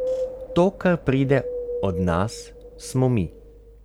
To, kar pride od nas, smo mi.